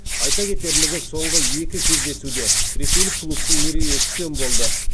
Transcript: айта кетерлігі соңғы екі кездесуде ресейлік клубтың мерейі үстем болды